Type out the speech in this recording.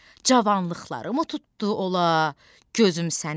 Cavanlıqlarımı tutdu ola gözüm səni?